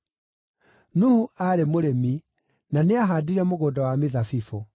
Nuhu aarĩ mũrĩmi, na nĩahaandire mũgũnda wa mĩthabibũ.